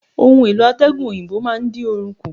Ohun-èlò atẹgun òyìnbó máa ń dín oru kù.